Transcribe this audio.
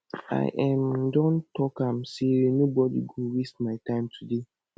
i um don talk am sey nobodi go waste my time today